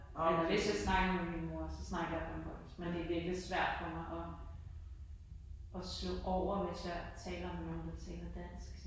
Og hvis jeg snakker med min mor så snakker jeg bornholmsk, men det er virkelig svært for mig og og slå over hvis jeg taler med nogen der taler dansk